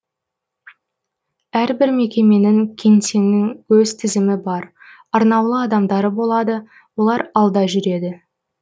әрбір мекеменің кеңсенің өз тізімі бар арнаулы адамдары болады олар алда жүреді